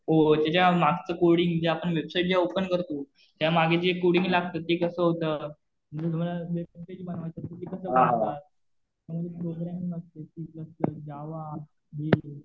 त्याच्या मागचं कोडिंग. ज्या आपण वेबसाईट ज्या ओपन करतो, त्या मागे एक कोडिंग लागतं. ते कसं होतं. आणि तुम्हाला जर बनवायचं तर ते कसं बनवतात. त्याच्यामध्ये प्रोग्रामिंग असते, जावा